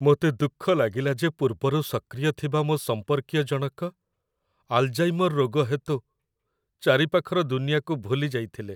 ମୋତେ ଦୁଃଖ ଲାଗିଲା ଯେ ପୂର୍ବରୁ ସକ୍ରିୟ ଥିବା ମୋ ସମ୍ପର୍କୀୟ ଜଣକ ଆଲ୍‌ଜାଇମର୍ ରୋଗ ହେତୁ ଚାରିପାଖର ଦୁନିଆକୁ ଭୁଲି ଯାଇଥିଲେ।